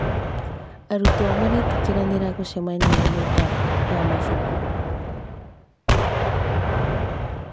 Arutwo maretĩkĩranĩra gũcemania nyũmba ya mabuku.